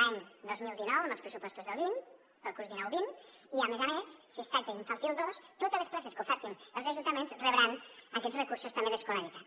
l’any dos mil dinou amb els pressupostos del vint per al curs dinou vint i a més a més si es tracta d’infantil dos totes les places que ofereixin els ajuntaments rebran aquests recursos també d’escolaritat